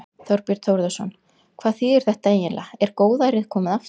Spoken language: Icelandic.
Þorbjörn Þórðarson: Hvað þýðir þetta eiginlega, er góðærið komið aftur?